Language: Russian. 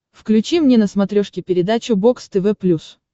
включи мне на смотрешке передачу бокс тв плюс